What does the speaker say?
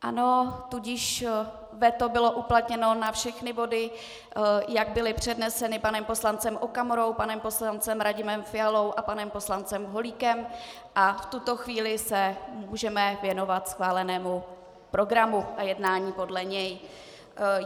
Ano, tudíž veto bylo uplatněno na všechny body, jak byly předneseny panem poslancem Okamurou, panem poslancem Radimem Fialou a panem poslancem Holíkem, a v tuto chvíli se můžeme věnovat schválenému programu a jednání podle něj.